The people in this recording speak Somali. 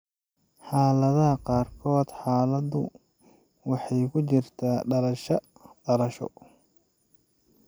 Xaaladaha qaarkood, xaaladdu waxay ku jirtaa dhalashada (dhalasho).